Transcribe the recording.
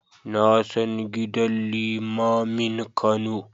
Na san gidan limamin Kano.